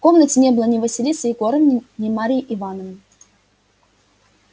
в комнате не было ни василисы егоровны ни марьи ивановны